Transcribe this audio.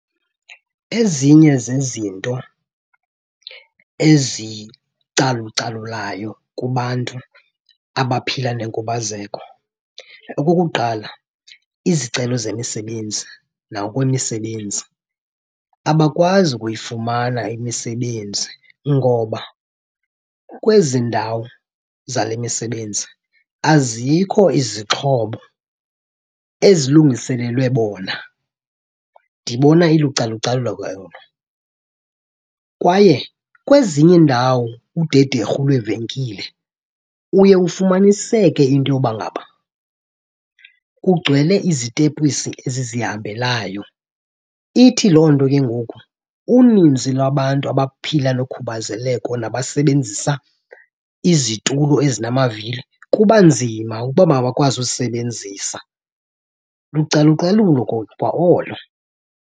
Ezinye zezinto ezicalucalulayo kubantu abaphila nenkubazeko. Okokuqala, izicelo zemisebenzi nakwimisebenzi. Abakwazi ukuyifumana imisebenzi ngoba kwezi ndawo zale misebenzi azikho izixhobo ezilungiselelwe bona. Ndibona ilucalucalulo ke olo. Kwaye kwezinye iindawo, udederhu lweevenkile, uye ufumaniseke into yoba ngaba kugcwele izitepisi ezizihambelayo. Ithi loo nto ke ngoku uninzi lwabantu abaphila nokhubazeleko nabasebenzisa izitulo ezinamavili kuba nzima ukuba mabakwazi uzisebenzisa. Lucalucalulo kwa olo.